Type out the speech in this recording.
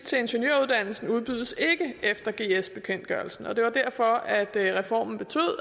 til ingeniøruddannelsen udbydes ikke efter gs bekendtgørelsen og det var derfor at reformen